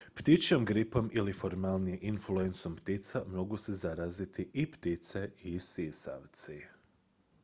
ptičjom gripom ili formalnije influencom ptica mogu se zaraziti i ptice i sisavci